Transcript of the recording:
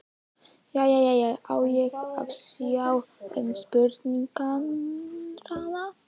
Jæja, á ég að sjá um spurningarnar?